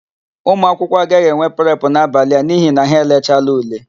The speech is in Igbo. Ụmụakwụkwọ agaghị enwe prepụ n'abalị a n'ihi na ha elechaala ule.